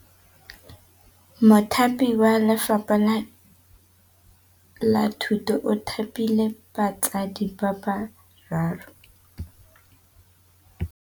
Mothapi wa Lefapha la Thutô o thapile basadi ba ba raro.